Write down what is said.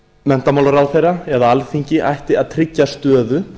menntamálaráðherra eða alþingi ætti að tryggja stöðu